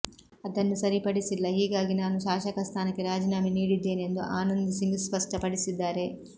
ಅದನ್ನು ಸರಿ ಪಡಿಸಿಲ್ಲ ಹೀಗಾಗಿ ನಾನು ಶಾಸಕ ಸ್ಥಾನಕ್ಕೆ ರಾಜೀನಾಮೆ ನೀಡಿದ್ದೇನೆಂದು ಆನಂದ್ ಸಿಂಗ್ ಸ್ಪಷ್ಟಪಡಿಸಿದ್ದಾರೆ